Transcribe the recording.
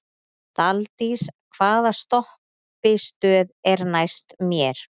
Daldís, hvaða stoppistöð er næst mér?